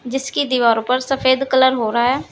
जिसकी दीवारों पर सफेद कलर हो रहा है।